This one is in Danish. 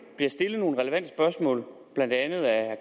bliver stillet nogle relevante spørgsmål blandt andet af